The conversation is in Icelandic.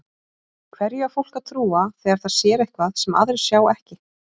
Hverju á fólk að trúa þegar það sér eitthvað sem aðrir sjá ekki?